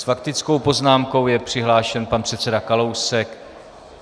S faktickou poznámkou je přihlášen pan předseda Kalousek.